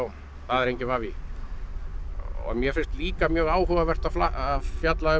það er enginn vafi mér finnst líka mjög áhugavert að fjalla um